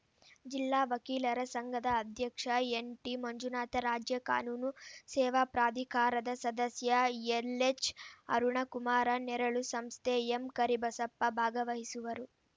ಜಿಲ್ಲಾ ವಕೀಲರ ಸಂಘದ ಅಧ್ಯಕ್ಷ ಎನ್‌ಟಿ ಮಂಜುನಾಥ ರಾಜ್ಯ ಕಾನೂನು ಸೇವಾ ಪ್ರಾಧಿಕಾರದ ಸದಸ್ಯ ಎಲ್‌ಎಚ್‌ ಅರುಣಕುಮಾರ ನೆರಳು ಸಂಸ್ಥೆ ಎಂಕರಿಬಸಪ್ಪ ಭಾಗವಹಿಸುವರು